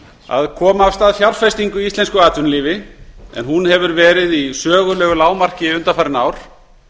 að koma af stað fjárfestingu í íslensku atvinnulífi en hún hefur verið í sögulegu lágmarki undanfarin ár